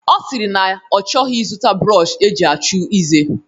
Ọ sịrị na ọ chọghị ịzụta brọọshi eji achụ ize.